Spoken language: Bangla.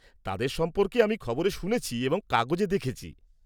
তাদের সম্পর্কে আমি খবরে শুনেছি এবং কাগজে দেখেছি।